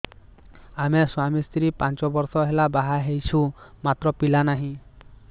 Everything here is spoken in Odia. ଆମେ ସ୍ୱାମୀ ସ୍ତ୍ରୀ ପାଞ୍ଚ ବର୍ଷ ହେଲା ବାହା ହେଇଛୁ ମାତ୍ର ପିଲା ନାହିଁ